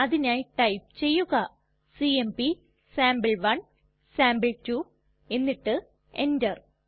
അതിനായി ടൈപ്പ് ചെയ്യുക CMP sample one sample two എന്നിട്ട് എന്റർ